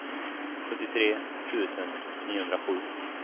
sjuttiotre tusen niohundrasju